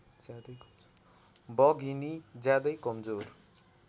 बघिनी ज्यादै कमजोर